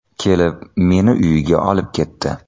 Kelib, meni uyiga olib ketdi.